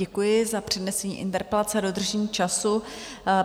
Děkuji za přednesení interpelace a dodržení času.